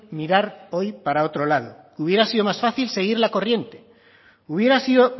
mirar hoy para otro lado hubiera sido más fácil seguir la corriente hubiera sido